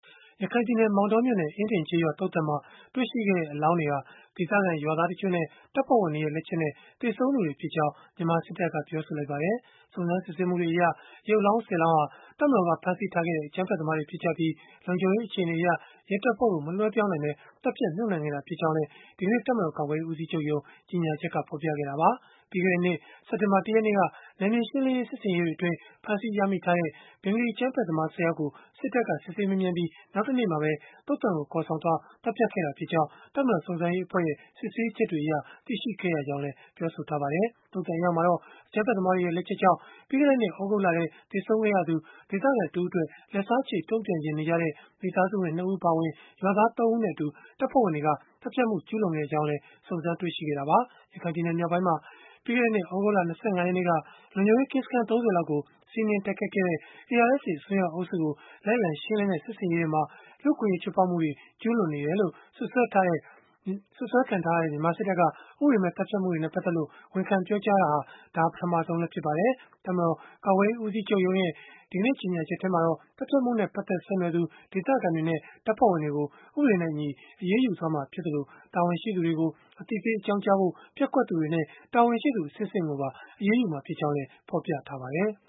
ရခိုင်ပြည်နယ် မောင်တောမြို့နယ် အင်းဒင်ကျးရွာ သုဿန်မှာ တွေ့ရှိခဲ့တဲ့ အလောင်းတွေဟာ ဒေသခံရွာသား တချို့နဲ့ လုံခြုံရေး တပ်ဖွဲ့ဝင်တွေရဲ့ လက်ချက်နဲ့ သေဆုံးသူတွေဖြစ်ကြောင်း မြန်မာစစ်တပ်က ပြောဆိုလိုက်ပါတယ်။ စုံစမ်းစစ်ဆေးမှုတွေအရ ရုပ်အလောင်း ၁၀ လောင်း ဟာ တပ်မတော်က ဖမ်းဆီးထားခဲ့တဲ့ အကြမ်းဖက်သမားတွေ ဖြစ်ကြပြီး၊ လုံခြုံရေးအခြေအနေအရ ရဲတပ်ဖွဲ့ကို မလွဲှပြောင်းနိုင်ဘဲ သတ်ဖြတ်မြှုပ်နှံခဲ့တာ ဖြစ်ကြောင်းလည်း ဒီကနေ့ တပ်မတော် ကာကွယ်ရေး ဦးစီးချုပ်ရုံး ကြေညာချက်က ဖော်ပြခဲ့တာပါ။ ပြီးခဲ့တဲ့နှစ် စက်တင်ဘာ ၁ ရက်နေ့က နယ်မြေရှင်းလင်းရေး စစ်ဆင်ရေးတွေအတွင်း ဖမ်းဆီးရမိထားတဲ့ အကြမ်းဖက်သမား ၁၀ ယောက်ကို စစ်ဆေးမေးမြန်းပြီး နောက်တနေ့မှာပဲ သုဿန်ကို ခေါ်ဆောင်သွားခဲ့ပြီး သတ်ဖြတ်ခဲ့တာ ဖြစ်ကြောင်းလည်း တပ်မတော်စုံစမ်းစစ်ဆေးရေး အဖွဲ့ရဲ့ စစ်ဆေးချက်တွေအရ သိရှိခဲ့ရကြောင်း ပြောဆိုထားပါတယ်။ သုဿန်အရောက်မှာတော့ ဘင်္ဂလီအကြမ်းဖက်သမားတွေရဲ့ လက်ချက်ကြောင့် ပြီးခဲ့တဲ့နှစ် သြဂုတ်လထဲ သေဆုံးခဲ့ရသူ ဒေသခံတဦးအတွက် လက်စားချေ တုန့်ပြန်ချင်နေကြတဲ့ မိသားစုဝင် ၂ ဦး အပါအဝင် ရွာသား ၃ ဦးနဲ့အတူ လုံခြုံရေး တပ်ဖွဲ့ဝင်တွေက သတ်ဖြတ်မှု ကျုးလွန်ခဲ့ကြောင်းလည်း စုံစမ်းတွေ့ရှိခဲ့တာပါ။ ရခိုင်ပြည်နယ် မြောက်ပိုင်းမှာ ပြီးခဲ့တဲ့နှစ် သြဂုတ်လ ၂၅ ရက်နေ့က လုံခြုံရေးကင်းစခန်း ၃၀ လောက်ကို စီးနင်းတိုက်ခိုက်ခဲ့တဲ့ ARSA အစွန်းရောက် အုပ်စုကို လိုက်လံရှင်းလင်းတဲ့ စစ်ဆင်ရေးအတွင်း လူ့အခွင့်အရေး ချိုးဖောက်မှုတွေ ကျုးလွန်နေတယ်လို့ စွပ်စွဲထားတဲ့ မြန်မာစစ်တပ်က ဥပဒေမဲ့ သတ်ဖြတ်မှုတွေနဲ့ ပတ်သက်လို့ ဝန်ခံပြောကြားတာ ဒါဟာပထမဆုံးလည်း ဖြစ်ပါတယ်။ တပ်မတော် ကာကွယ်ရေး ဦးစီးချုပ်ရုံးရဲ့ ဒီကနေ့ ကြေညာချက်မှာတော့ သတ်ဖြတ်မှုနဲ့ ပတ်သက်ဆက်နွယ်သူ ဒေသခံတွေနဲ့ တပ်ဖွဲ့ဝင်တွေကို ဥပဒေနဲ့အညီ အရေးယူသွားမှာ ဖြစ်သလို၊ တာဝန်ရှိသူတွေကို အသိပေး အကြောင်းကြားဖို့ ပျက်ကွက်သူတွေနဲ့ တာဝန်ရှိသူ အဆင့်ဆင့်ကိုပါ အရေးယူမှာ ဖြစ်ကြောင်းလည်း ဖော်ပြထားပါတယ်။